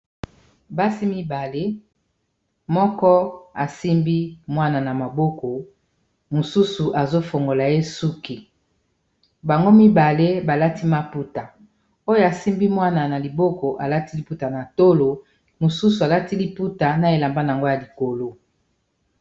Basi mibale moko asimbi mwana na maboko mosusu azofongola ye suki bango mibale balati maputa oyo asimbi mwana na liboko alati liputa na tolo mosusu alati liputa na elamba na yango ya likolo.